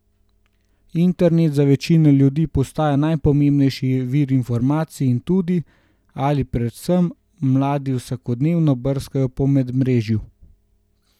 Internet za večino ljudi postaja najpomembnejši vir informacij in tudi, ali pa predvsem, mladi vsakodnevno brskajo po medmrežju.